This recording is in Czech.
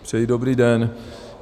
Přeji dobrý den.